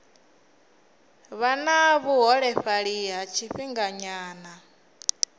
vha na vhuholefhali ha tshifhinganyana